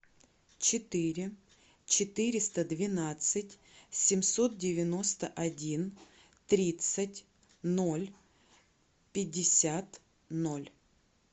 четыре четыреста двенадцать семьсот девяносто один тридцать ноль пятьдесят ноль